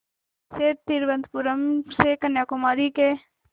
वैसे तिरुवनंतपुरम से कन्याकुमारी के